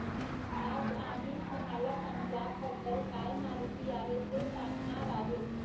आज आम्ही तुम्हाला पंजाब बद्दल काय माहिती आहे ते सांगणार आहेत